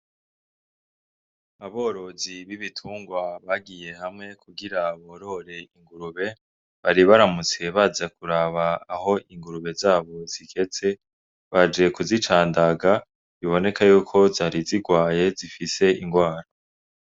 Aborozi b’ibitungwa bagiye hamwe kugira borore ingurube . Bari baramutse baza kuraba aho ingurube zabo zigeze , baje kuzicandaga biboneka yuko zari zigwaye zifise indwara.